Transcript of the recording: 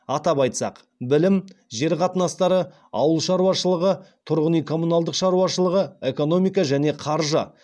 атап айтсақ білім жер қатынастары ауыл шаруашылық тұрғын үй коммуналдық шаруашылығы экономика және қаржы